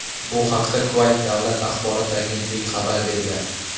Bu haqda Kuvayt davlat axborot agentligi xabar bergan.